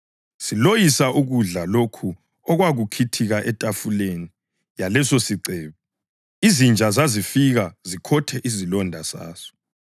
siloyisa ukudla lokho okwakukhithika etafuleni yalesosicebi. Izinja zazifika zikhothe izilonda zaso.